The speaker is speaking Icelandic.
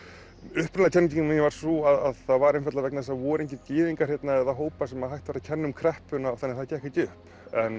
upprunalega kenningin mín var sú að það var einfaldlega vegna þess að það voru engir gyðingar hérna eða hópar sem hægt var að kenna um kreppuna þannig að það gekk ekki upp